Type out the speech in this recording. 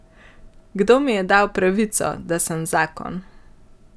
Kdo mi je dal pravico, da sem zakon?